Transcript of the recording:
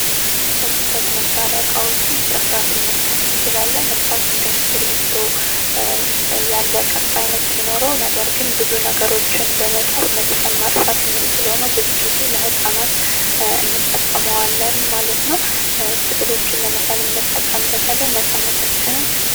ከጽፈት መሳሪያ ዕቃዎቹ ጥርሷ ስነጥቀስ እንችላለን ዓይነት ሲኖረው ነገር ግን ብዙ ነገሮችን መልሰን ማጥፋት ነው ብዙ ጊዜ ለህፃናት እንጠቀመዋለን ማለት ነው ስዕሎችን ለመሳበታለን ነጻነታችንን።